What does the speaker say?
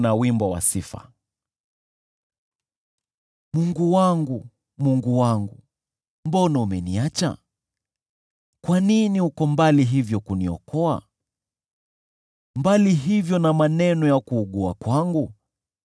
Mungu wangu, Mungu wangu, mbona umeniacha? Kwa nini uko mbali hivyo kuniokoa? Mbali hivyo na maneno ya kuugua kwangu?